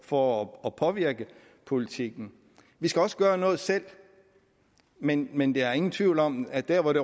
for at påvirke politikken vi skal også gøre noget selv men men der er ingen tvivl om at der hvor det